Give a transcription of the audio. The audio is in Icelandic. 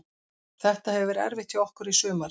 Þetta hefur verið erfitt hjá okkur í sumar.